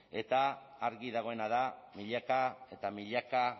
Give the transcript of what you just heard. eta argi dagoena da milaka eta milaka